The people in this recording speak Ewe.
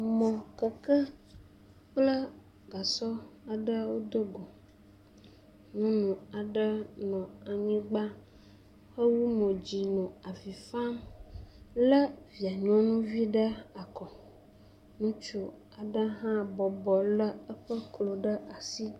mɔkɔkɔ kple gasɔ aɖe wodo go. Nyɔnu aɖe nɔ anyigba hewɔ mo dzi nɔ avi fam le via nyɔnuvi ɖe akɔ. Ŋutsu aɖe hã bɔbɔ le eƒe klo ɖe asi.